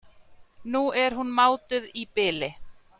Nú er hún mátuð í bili.